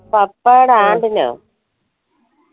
പപ്പായുടെ ആണ്ടിനാ